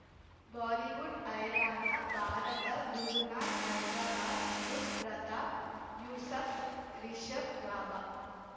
Bollywood ಹೈರಾಣ ಭಾರತ ಗುರುನಾಥ್ ಹೈದ್ರಾಬಾದ್ ಬುಧ್ ಪ್ರತಾಪ್ ಯೂಸಫ್ ರಿಷಬ್ ಲಾಭ